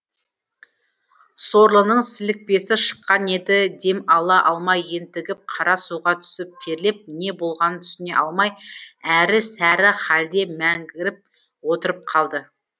сорлының сілікпесі шыққан еді дем ала алмай ентігіп қара суға түсіп терлеп не болғанын түсіне алмай әрі сәрі халде мәңгіріп отырып қалды